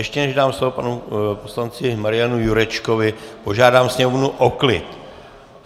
Ještě než dám slovo panu poslanci Marianu Jurečkovi, požádám sněmovnu o klid.